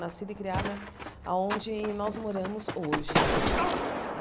Nascida e criada aonde nós moramos hoje.